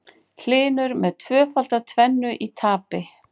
Hlynur með tvöfalda tvennu í tapi